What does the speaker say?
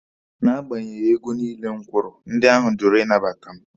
Na agbanyeghị ego niile m kwụrụ, ndị ahụ jụrụ ịnabata mụ.